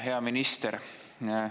Hea minister!